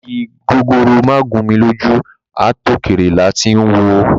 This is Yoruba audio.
Igi gogoro má gún mi lójú ,àtòkèrè làá ti ń wòó.